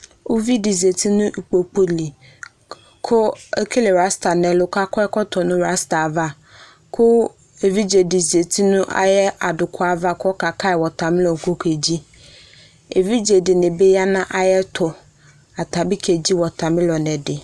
Uvidi zati nu ikpoku li ku ekele rasta nu ɛlu ku akɔ ɛkɔtɔ nu rasta ava kʊ evidze di zati nu ayɛ aduku yɛ ava ku ɔka alu kɔke dzi evidze dini bi yanu ayɛtu ata bi kedzi water melon di